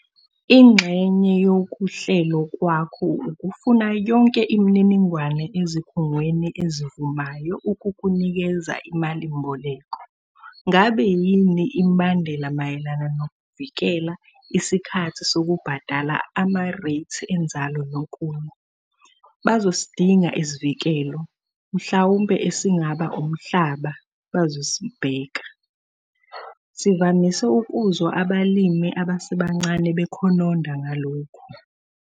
Ingxenye yokuhlelo kwakho ukufuna yonke imininingwane ezikhungweni ezivumayo ukukunikeza imalimboleko. Ngabe yini imibandela mayelana nokuvikela, isikhathi sokubhadala, amareythi enzalo nokunye? Bazosidinga isivikelo, mhlawumbe esingaba umhlaba bazosibheka. Sivamise ukuzwa abalimi abasebancane bekhononda ngalokhu.